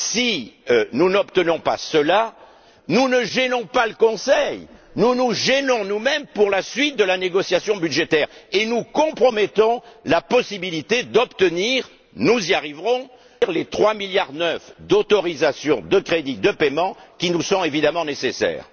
Si nous n'obtenons pas cela, nous ne gênons pas le Conseil nous nous gênons nous mêmes pour la suite de la négociation budgétaire et nous compromettons la possibilité d'obtenir nous y arriverons les 3,9 milliards d'autorisation de crédits de paiement qui nous sont évidemment nécessaires.